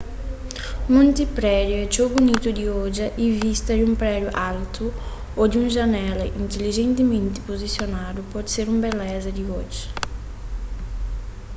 munti prédiu é txeu bunitu di odja y vista di un prédiu altu ô di un janela intilijentimenti puzisionadu pode ser un beleza di odja